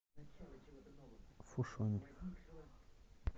фушунь